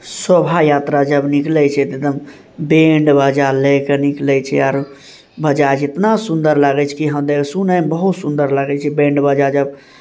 शोभा यात्रा जब निकले छै त बैंड बाजा लेकर निकले छै आरु बजाज इतना सुन्दर लागे छै की हदेव सुने बहुत सुन्दर लागे छै बैड बाजा जब----